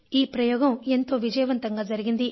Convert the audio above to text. ఈ ప్రయోగం ఎంతో విజయవంతంగా జరిగింది